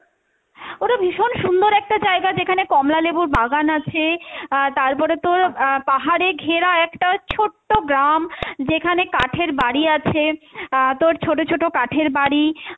ওটা ভীষণ সুন্দর একটা জায়গা যেখানে কমলালেবুর বাগান আছে আহ তারপরে তোর আহ পাহাড়ে ঘেরা একটা ছোট্ট গ্রাম যেখানে কাঠের বাড়ি আছে আহ তোর ছোট ছোট কাঠের বাড়ি,